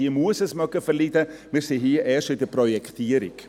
Diese muss es verkraften, wir sind jetzt erst in der Projektierung.